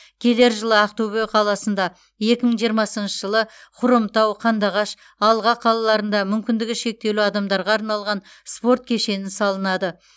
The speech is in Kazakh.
келер жылы ақтөбе қаласында екі мың жиырмасыншы жылы хромтау қандыағаш алға қалаларында мүмкіндігі шектеулі адамдарға арналған спорт кешенін салынады